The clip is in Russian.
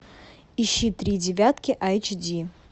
ищи три девятки айч ди